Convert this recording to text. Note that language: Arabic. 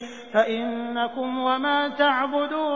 فَإِنَّكُمْ وَمَا تَعْبُدُونَ